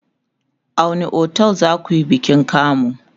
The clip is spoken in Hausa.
a wani otel zakuyi bikin kamu?